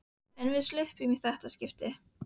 En við sluppum í þetta skipti.